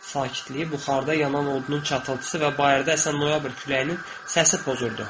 Sakitliyi buxarda yanan odunun çatıltısı və bayırda əsən noyabr küləyinin səsi pozurdu.